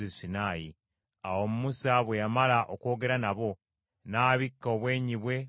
Awo Musa bwe yamala okwogera nabo, n’abikka obwenyi bwe olugoye.